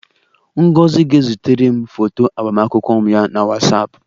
Ngozi ga-ezitere m foto agbamakwụkwọ ya na Whatsapp